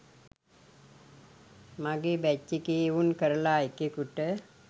මගේ බැච් එකේ එවුන් කරලා එකෙකුට